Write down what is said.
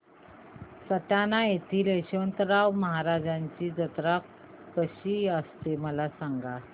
सटाणा येथील यशवंतराव महाराजांची यात्रा कशी असते मला सांग